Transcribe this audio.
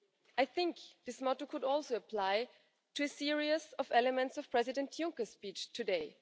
I think this motto could also apply to a series of elements of President Juncker's speech today.